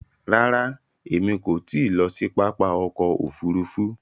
Ràrà, èmi kò ti lọ sí pápá ọkọ̀ òfurufú